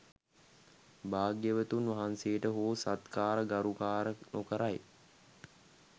භාග්‍යවතුන් වහන්සේට හෝ සත්කාර ගරුකාර නොකරයි.